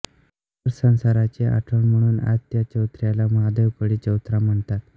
ह्या नरसंहाराची आठवण म्हणून आज त्या चौथऱ्याला महादेव कोळी चौथरा म्हणतात